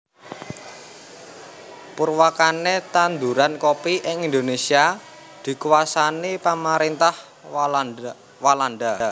Purwakane tanduran kopi ing Indonésia dikuasani pamarintah Walanda